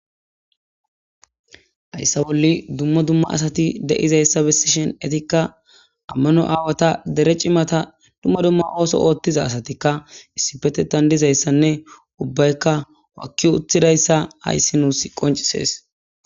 hayssa bolli dumma dumma asati de7izayssa bessishen etikka ammano aawata dere cimata dumma dumma ooso ooththiza asatikka issipetetandizayssanne ubbaykka wakki utthidayssa hayssi nuus qoncisees